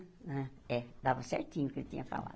Hã é dava certinho o que ele tinha falado.